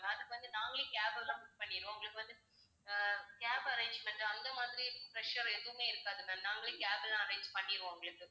அதுக்கு வந்து நாங்களே cab எல்லாம் book பண்ணிடுவோம். உங்களுக்கு வந்து அஹ் cab arrange பண்ற அந்த மாதிரி pressure எதுவுமே இருக்காது ma'am நாங்களே cab எல்லாம் arrange பண்ணிடுவோம் உங்களுக்கு